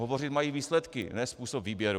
Hovořit mají výsledky, ne způsob výběru.